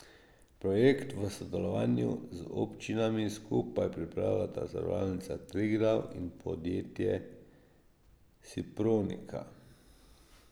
Projekt v sodelovanju z občinami skupaj pripravljata Zavarovalnica Triglav in podjetje Sipronika.